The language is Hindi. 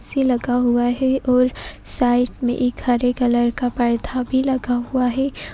ऐसी लगा हुआ है और साइड मे एक हरे कलर का परथा भी लगा हुआ है।